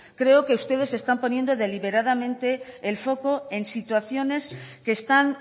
creo que ustedes están poniendo deliberadamente el foco en situaciones que están